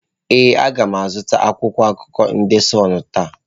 Ee, a ga m azụta akwụkwọ akụkọ ndị de Sunụ taa.